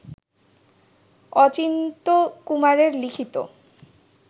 অচিন্ত্যকুমারের লিখিত